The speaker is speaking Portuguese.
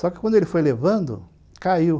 Só que quando ele foi levando, caiu.